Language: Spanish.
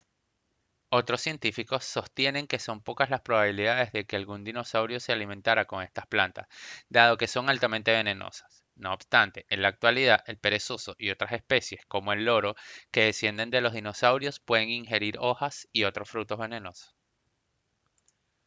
otros científicos sostienen que son pocas las probabilidades de que algún dinosaurio se alimentara con estas plantas dado que son altamente venenosas; no obstante en la actualidad el perezoso y otras especies como el loro que descienden de los dinosaurios pueden ingerir hojas o frutos venenosos